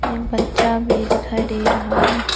एक बच्चा भी डिखाई डे रहा है।